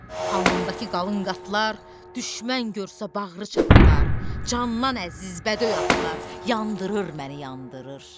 Alnımdakı qalın qatlar, düşmən görsə bağrı çatılar, candan əziz bədöy atlar yandırır məni, yandırır.